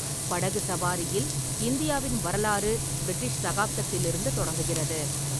படகு சவாரியில் இந்தியாவின் வரலாறு பிரிட்டிஷ் சகாப்தத்திலிருந்து தொடங்குகிறது.